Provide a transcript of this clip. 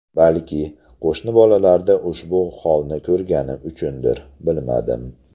Balki, qo‘shni bolalarda shu holni ko‘rganim uchundir, bilmadim.